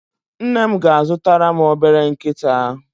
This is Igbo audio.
Nne m ga-azụtara m obere nkịta.